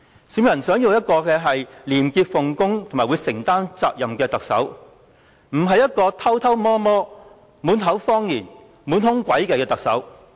市民想要的是一名廉潔奉公和承擔責任的特首，而不是一名偷偷摸摸、滿口謊言、滿腹詭計的特首。